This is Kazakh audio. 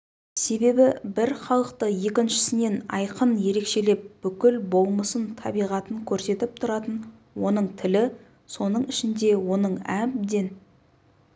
себебі бір халықты екіншісінен айқын ерекшелеп бүкіл болмысын табиғатын көрсетіп тұратын оның тілі соның ішінде оның әбден